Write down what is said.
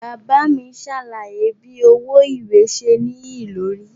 Baba mi ṣe alaye bi owo iwe ṣe niyelori.